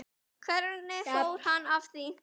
Hvernig fór hann að því?